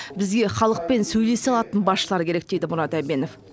бізге халықпен сөйлесе алатын басшылар керек дейді мұрат әбенов